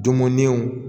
Dunmuninw